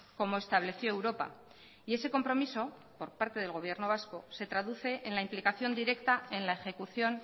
como estableció europa y ese compromiso por parte del gobierno vasco se traduce en la implicación directa en la ejecución